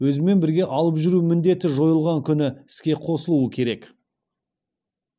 өзімен бірге алып жүру міндеті жойылған күні іске қосылуы керек